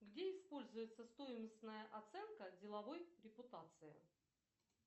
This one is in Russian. где используется стоимостная оценка деловой репутации